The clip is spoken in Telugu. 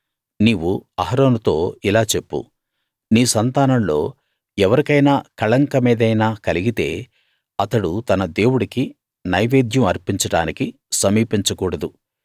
నీవు అహరోనుతో ఇలా చెప్పు నీ సంతానంలో ఎవరికైనా కళంకమేదైనా కలిగితే అతడు తన దేవుడికి నైవేద్యం అర్పించడానికి సమీపించ కూడదు